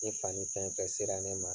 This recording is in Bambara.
I fani fɛn fɛn sera ne ma.